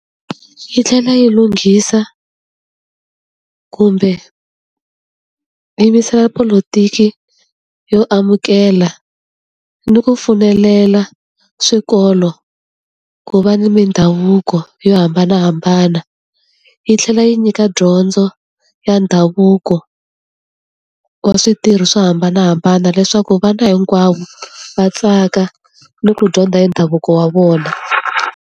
Yi tlhela yi lunghisa kumbe yimisela polotiki yo amukela ni ku pfumelela swikolo ku va ni mindhavuko yo hambanahambana. Yi tlhela yi nyika dyondzo ya ndhavuko wa switirho swo hambanahambana leswaku vana hinkwavo va tsaka ni ku dyondza hi ndhavuko wa vona.